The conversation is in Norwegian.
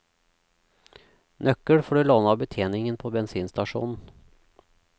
Nøkkel får du låne av betjeningen på bensinstasjonen.